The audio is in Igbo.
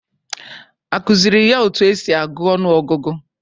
Akụziri ya otu esi agụ ọnụ ọgụgụ?